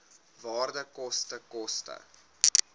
waarde koste koste